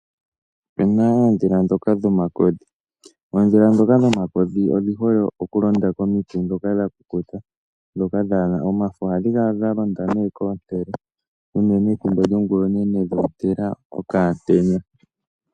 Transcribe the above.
Opuna oodhila ndhoka dhomakodhi dhi hole okulonda komiti ndhoka dha kukuta, ndhoka dhaana omafo ngaashi komintele unene ethimbo lyongula onene dhoontela okamutenya.